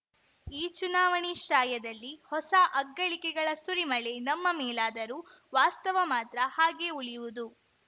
ಈ ಚುನಾವಣೆ ಶ್ರಾಯದಲ್ಲಿ ಹೊಸ ಅಗ್ಗಳಿಕೆಗಳ ಸುರಿಮಳೆ ನಮ್ಮ ಮೇಲಾದರೂ ವಾಸ್ತವ ಮಾತ್ರ ಹಾಗೆ ಉಳಿಯುವುದು